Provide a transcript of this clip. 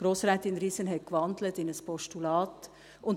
Grossrätin Riesen hat in ein Postulat gewandelt.